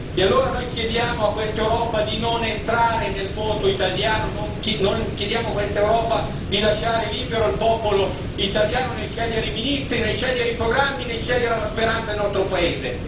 E allora noi chiediamo a questa Europa di non entrare nel voto italiano, chiediamo a questa Europa di lasciare libero il popolo italiano nel scegliere i ministri, nel scegliere i programmi, nel scegliere la speranza e il nostro paese.